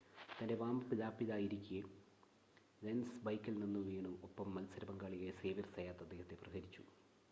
തൻ്റെ വാം-അപ്പ് ലാപ്പിലായിരിക്കെ ലെൻസ് ബൈക്കിൽ നിന്ന് വീണു ഒപ്പം മത്സര പങ്കാളിയായ സേവ്യർ സയാത്ത് അദ്ദേഹത്തെ പ്രഹരിച്ചു